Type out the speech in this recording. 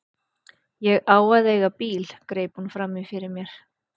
Ég á að eiga í apríl, greip hún fram í fyrir mér.